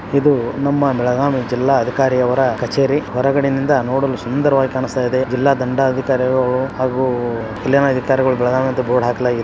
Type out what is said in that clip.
ಇದು ನಮ್ಮ ಬೆಳಗಾಂ ನ ಜಿಲ್ಲಾಅಧಿಕಾರವರ ಕಚೇರಿ ಹೊರಗಡೆ ಯಿಂದ ನೋಡಲು ಸುಂದರವಾಗಿ ಕಾಣಿಸ್ತಾಯಿದೆ ಜಿಲಾ ದಂಡಾಧಿಕಾರಿಗಳು ಹಾಗು ಇಲ್ಲಿನ ಅಧಿಕಾರಿಗಳು ಬೆಳಗಾವಿಅಂತ ಬೋರ್ಡ್ ಹಾಕಲಾಗಿದೆ.